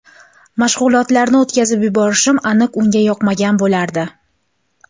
Mashg‘ulotlarni o‘tkazib yuborishim aniq unga yoqmagan bo‘lardi.